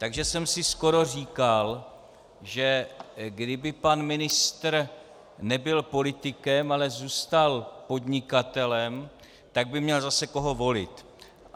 Takže jsem si skoro říkal, že kdyby pan ministr nebyl politikem, ale zůstal podnikatelem, tak by měl zase koho volit.